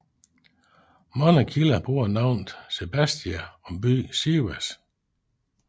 Mange kilder bruger navnet Sebastia om byen Sivas